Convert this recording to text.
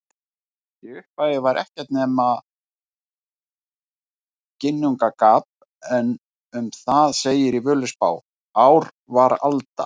Í upphafi var ekkert nema Ginnungagap en um það segir í Völuspá: Ár var alda,